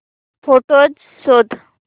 photos शोध